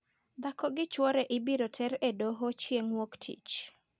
Dhako gi chwore ibiro ter e doho chieng' wuok tich.